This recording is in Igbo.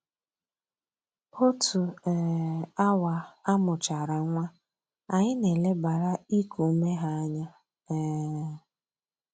Otu um awa a mụchara nwa, anyị na-elebara iku ume ha anya um